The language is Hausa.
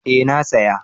eh na saya